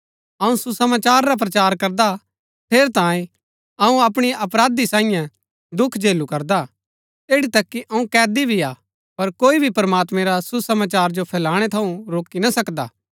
अऊँ सुसमाचार रा प्रचार करदा ठेरैतांये अऊँ अपराधी सांईयै दुख झेलू करदा हा एठी तक कि अऊँ कैदी भी हा पर कोई भी प्रमात्मैं रा सुसमाचार जो फैलणै थऊँ रोकी ना सकदा